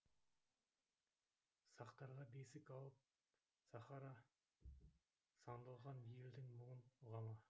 сақтарға бесік алып сахара сандалған елдің мұңын ұға ма